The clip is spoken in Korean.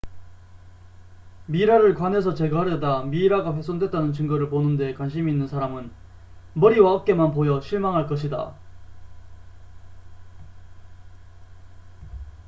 미라를 관에서 제거하려다 미이라가 훼손됐다는 증거를 보는 데 관심이 있는 사람은 머리와 어깨만 보여 실망할 것이다